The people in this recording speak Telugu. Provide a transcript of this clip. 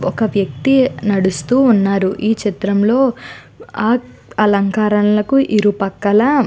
ఒక వ్యక్తి నడుస్తూ ఉన్నారు ఈ చిత్రంలో ఆ అలంకారాలకు ఇరుపక్కల --